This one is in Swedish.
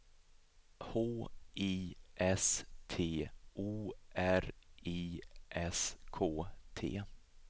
H I S T O R I S K T